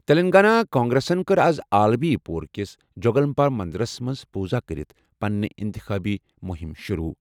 تیٚلنٛگانہ کانگریسن کٔر آز عالمی پور کِس جوگلمبا منٛدرَس منٛز پوٗزا کٔرِتھ پنٕنہِ اِنتخٲبی مُہِم شُروٗع۔